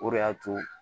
O de y'a to